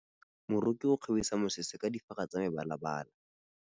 Moroki o kgabisa mesese ka difaga tsa mebalabala.